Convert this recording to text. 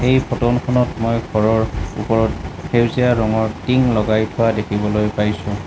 এই ফটো খনত মই ঘৰৰ ওপৰত সেউজীয়া ৰঙৰ টিং লগাই থোৱা দেখিবলৈ পাইছোঁ।